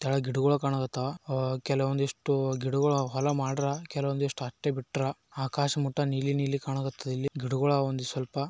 ತಳ ಗಿಡಗಳು ಕಾಣ ಹಾ ತ್ತವ ಕೆಲ ಒಂದಿಷ್ಟು ಗಿಡಗಳು ಹೊಲ ಮಾಡವರ ಕೆಲವೊಂದಷ್ಟು ಹಾಗೆ ಬಿಟ್ರಾ ಆಕಾಶ ಮುಟ್ಟ ನೀಲಿ ನೀಲಿ ಕಾಣಕತ್ತಾವ ಗಿಡಗಳು ಇದಾವ ಇಲ್ಲಿ ಸ್ವಲ್ಪ.